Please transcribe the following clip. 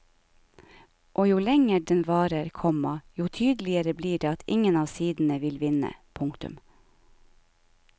Og jo lenger den varer, komma jo tydeligere blir det at ingen av sidene vil vinne. punktum